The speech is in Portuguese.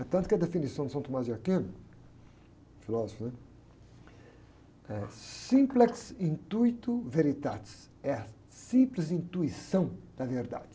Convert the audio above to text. É tanto que a definição de São Tomás de Aquino, filósofo, né? É, é a simples intuição da verdade.